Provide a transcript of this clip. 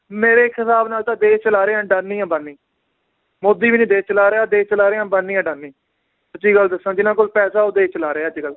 ਮੇਰੇ ਇੱਕ ਹਿਸਾਬ ਨਾਲ ਤਾਂ ਦੇਸ਼ ਚਲਾ ਰਹੇ ਆ ਅੰਡਾਨੀ ਅੰਬਾਨੀ ਮੋਦੀ ਵੀ ਨੀ ਦੇਸ਼ ਚਲਾ ਰਿਹਾ, ਦੇਸ਼ ਚਲਾ ਰਹੇ ਹੈ ਅੰਬਾਨੀ ਆਡਾਨੀ, ਸਚੀ ਗੱਲ ਦੱਸਾਂ ਜਿਨਾਂ ਕੋਲ ਪੈਸੇ ਉਹ ਦੇਸ਼ ਚਲਾ ਰਹੇ ਆ ਅੱਜਕੱਲ